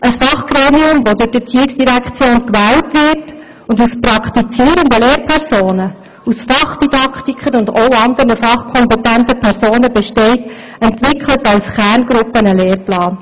Ein Fachgremium, das durch die ERZ gewählt wird und aus praktizierenden Lehrpersonen, Fachdidaktikern und auch anderen fachkompetenten Personen besteht, entwickelt als Kerngruppe einen Lehrplan.